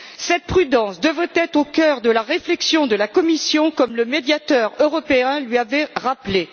Cette prudence devrait être au cœur de la réflexion de la Commission, comme le Médiateur européen le lui avait rappelé.